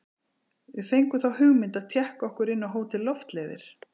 Við fengum þá hugmynd að tékka okkur inn á Hótel Loftleiðir.